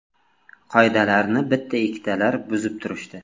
Qoidalarni bitta-ikkitalar buzib turishdi.